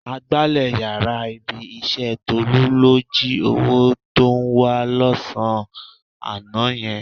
Agbálẹ̀ yàrá ibi-iṣẹ́ Tólú ló jí owó tó ń wá lọ́sàn-án àná yẹn.